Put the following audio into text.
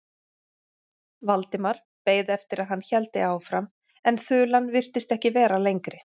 Valdimar beið eftir að hann héldi áfram en þulan virtist ekki vera lengri.